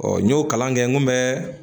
Ɔ n y'o kalan kɛ n kun bɛ